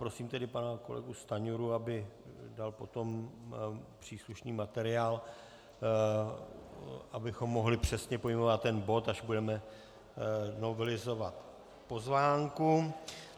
Prosím tedy pana kolegu Stanjuru, aby dal potom příslušný materiál, abychom mohli přesně pojmenovat ten bod, až budeme novelizovat pozvánku.